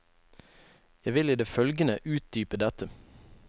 Jeg vil i det følgende utdype dette.